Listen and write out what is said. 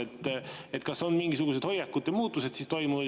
Kas nüüd on mingisugused hoiakute muutused toimunud?